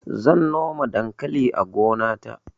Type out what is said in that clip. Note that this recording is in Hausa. zan noma dankali a gona ta